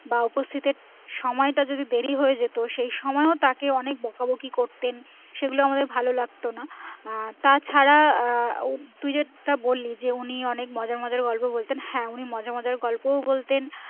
বা উপস্থিতের সময় তা যদি দেরি হয়ে যেত সেই সময়ও তাকে অনেক বোকা বাকি করতেন সেগুলো আমাদের ভালো লাগতো না আহ তাছাড়া তুই যেটা বলি যে উনি অনেক মজার মজার গল্প বলতেন হ্যাঁ উনি মজার মজার গল্পও বলতেন